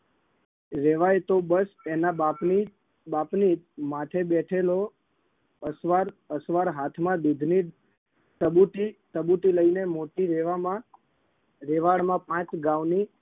રેવાય તો બસ તેના બાપની બાપની માથે બેથેલો અસવાર અસવાર હાથમાં દૂધની ટબુટી ટબુટી લઈને મોતી લેવામાં વેવાડમાં પાંચ ગાઉની